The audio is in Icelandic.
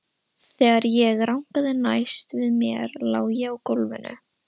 Þegar ég rankaði næst við mér lá ég á gólfinu.